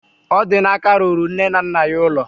Odinaka rụrụ nne na nna ya ụlọ